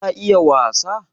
ka iya wasa?